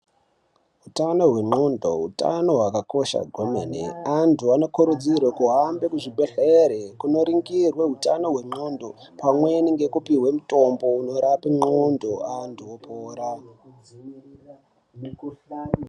Hutano hwengonxo hutano hwakakosha kwemene antu anokurudzirwa kuhamba kuzvibhedhlera kundoningurwa hutano hwengonxo pamweni nekupihwa mitombo inorapa antu opora.